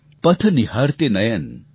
एक बरस बीत गया